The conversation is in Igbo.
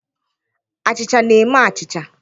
Achịcha na-eme achịcha